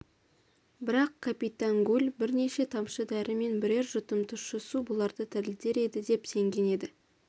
бірақ капитан гуль бірнеше тамшы дәрі мен бірер жұтым тұщы су бұларды тірілтер еді деп сенген еді